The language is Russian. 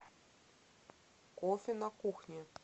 кофе на кухне